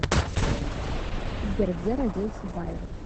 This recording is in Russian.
сбер где родился байрон